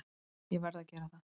Ég verð að gera það.